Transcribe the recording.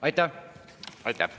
Aitäh!